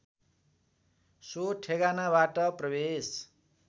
so ठेगानाबाट प्रवेश